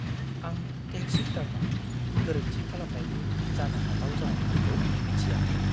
आं टेक्स रिटार्नाव गोरोन्थि खालामनायनि जानो हाथाव जाउनफोरखौ मिथियामोन।